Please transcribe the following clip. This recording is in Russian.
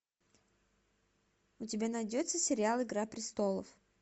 у тебя найдется сериал игра престолов